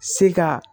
Se ka